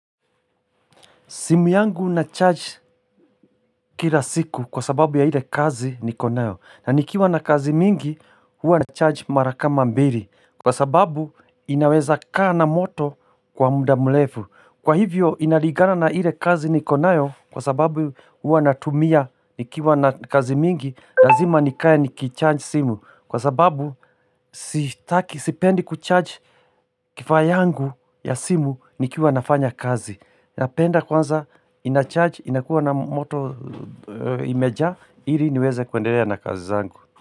Simu yangu nacharge kila siku kwa sababu ya ile kazi niko nayo. Na nikiwa na kazi mingi, huwa nacharge mara kama mbili. Kwa sababu, inaweza kaa na moto kwa muda mrefu. Kwa hivyo, inalingana na ile kazi niko nayo kwa sababu, huwa natumia nikiwa na kazi mingi. Lazima nikae nikicharge simu. Kwa sababu, sitaki, sipendi kucharge kifaa yangu ya simu nikiwa nafanya kazi. Napenda kwanza inacharge, inakuwa na moto imejaa, ili niweze kuendelea na kazi zangu.